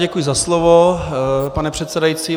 Děkuji za slovo, pane předsedající.